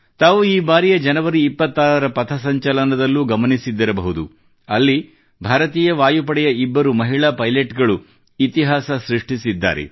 ತಾವು ಈ ಬಾರಿಯ ಜನವರಿ 26ರ ಪಥಸಂಚಲನದಲ್ಲೂ ಗಮನಿಸಿದ್ದಿರಬಹುದು ಅಲ್ಲಿ ಭಾರತೀಯ ವಾಯುಪಡೆಯ ಇಬ್ಬರು ಮಹಿಳಾ ಪೈಲೆಟ್ ಗಳು ಇತಿಹಾಸ ಸೃಷ್ಟಿಸಿದ್ದಾರೆ